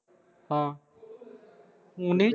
ਹਾਂ ਫੋਨ ਨਹੀਂ